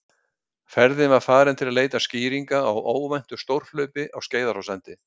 Ferðin var farin til að leita skýringa á óvæntu stórhlaupi á Skeiðarársandi.